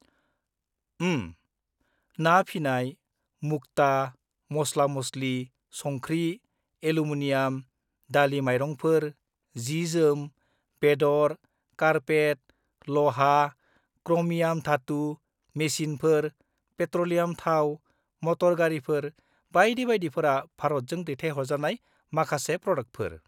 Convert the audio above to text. -ओम्म, ना फिनाय, मुक्ता, मस्ला-मस्लि, संख्रि, एल्युमिनियाम, दालि-माइरंफोर, जि-जोम, बेदर, कारपेट, लहा, क्र'मियाम धातु, मेसिनफोर, पेट्र'लियाम थाव, मट'र गारिफोर बायदि बायदिफोरा भारतजों दैथायहरजानाय माखासे प्र'डाकफोर।